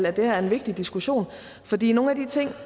at det her er en vigtig diskussion fordi nogle af de ting